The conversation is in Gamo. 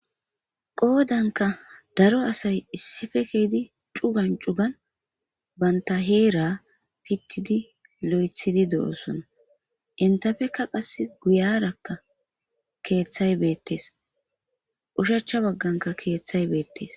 qoodanka daro asay issife keeydi cugan cugan banta heera pittidi lo7ethidi do7osona intafeka qass guyarakka keeththay beettes ushacha bagganka keeththay beettees